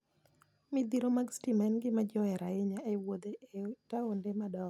Midhiro mag stima en gima ji ohero ahinya e wuoth e taonde madongo.